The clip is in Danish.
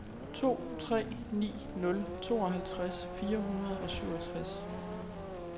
to tre ni nul tooghalvtreds fire hundrede og syvogtres